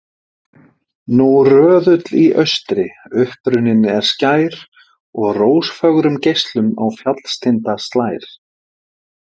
Nú röðull í austri upprunninn er skær, og rósfögrum geislum á fjallstinda slær.